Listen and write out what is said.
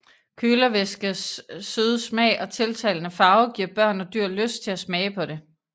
Kølervæskes søde smag og tiltalende farve giver børn og dyr lyst til at smage på det